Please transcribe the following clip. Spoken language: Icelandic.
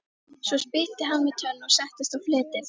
Svo spýtti hann við tönn og settist á fletið.